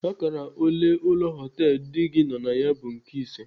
Akara ole ụlọ họtelu di gị nọ na ya bụ nke ise.